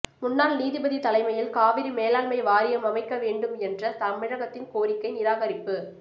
முன்னாள் நீதிபதி தலைமையில் காவிரி மேலாண்மை வாரியம் அமைக்க வேண்டும் என்ற தமிழகத்தின் கோரிக்கை நிராகரிப்பு